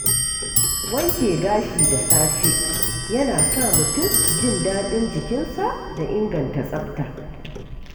Wanke gashi da safe yana sa mutum jin daɗin jikinsa da inganta tsabta.